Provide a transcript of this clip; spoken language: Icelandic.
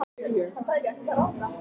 Finnvarður, spilaðu lag.